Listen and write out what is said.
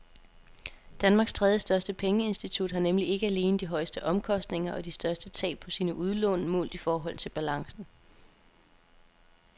Danmarks tredjestørste pengeinstitut har nemlig ikke alene de højeste omkostninger og de største tab på sine udlån målt i forhold til balancen.